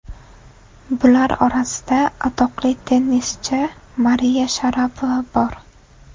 Bular orasida atoqli tennischi Mariya Sharapova bor .